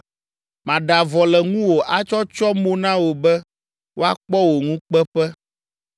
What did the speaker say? Maɖe avɔ le ŋuwò atsɔ atsyɔ mo na wò be woakpɔ wò ŋukpeƒe,